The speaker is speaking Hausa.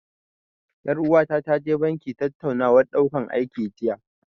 Ƴar uwata ta je banki tattaunawar ɗaukan aiki jiya.